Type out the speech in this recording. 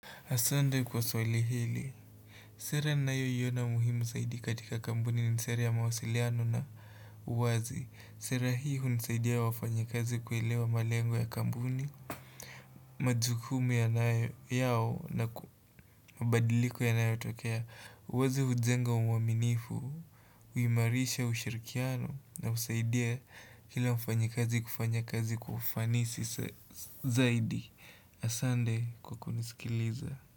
Asante kwa swali hili, sera ninayoiona muhimu zaidi katika kampuni ni sera ya mawasiliano na uwazi, sera hii hunisaidia wafanyakazi kuelewa malengo ya kampuni majukumu yanayo yao na ku mabadiliko yanayotokea, uwazi hujenga uaminifu, huhimarisha ushirikiano na husaidia kila mfanyakazi kufanya kazi kwa ufanisi zaidi. Asante kwa kunisikiliza.